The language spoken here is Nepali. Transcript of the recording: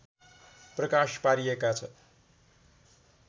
प्रकाश पारिएका छ